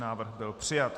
Návrh byl přijat.